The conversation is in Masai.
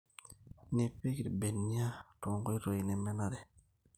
Nipik irrbenia tenkoitoi nemenare.